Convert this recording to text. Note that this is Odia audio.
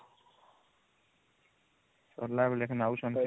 ସରିଲା